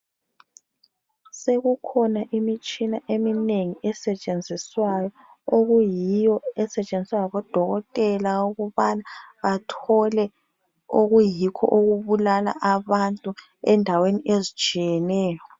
Sekukhona imitshina eminengi esetshenziswayo okuyiyo esetshenziswa ngabodokotela ukubana bathole okuyikho okubulala abantu endaweni ezinengi ezitsheyeneo